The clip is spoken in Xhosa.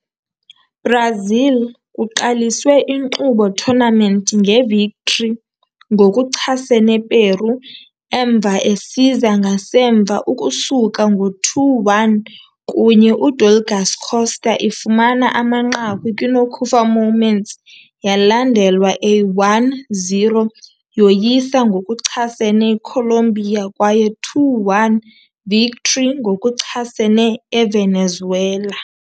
Brazil kuqaliswe inkqubo tournament nge victory ngokuchasene Peru emva esiza ngasemva ukusuka ngo 2-1, kunye Udouglas Costa ifumana amanqaku kwi-nokufa moments, yalandelwa a 1-0 yoyisa ngokuchasene Colombia kwaye 2-1 victory ngokuchasene Evenezuela.